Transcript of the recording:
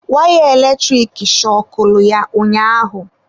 Wire eletrik shọkụlụ ya ụnyaahụ.